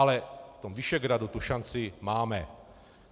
Ale v tom Visegrádu tu šanci máme.